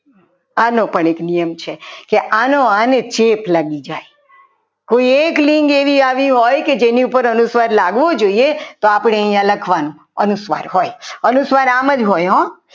આનો પણ એક નિયમ છે કે આનો આને ચેપ લાગી જાય હવે એક લિંક આવી હોય કે જેની ઉપર અનુસ્વાર લાગવો જોઈએ તો અહીંયા આપણે લખવાનું અનુસ્વાર હોય અનુસ્વાર આમ જ હોય.